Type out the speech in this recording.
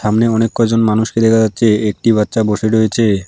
একানে অনেক কজন মানুষকে দেখা যাচ্ছে একটি বাচ্চা বসে রয়েচে।